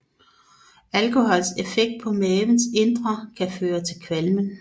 Alkohols effekt på mavens indre kan føre til kvalmen